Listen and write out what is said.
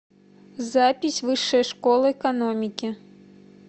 запись высшая школа экономики